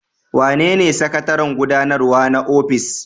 Wanene sakataren gudanarwa na ofis?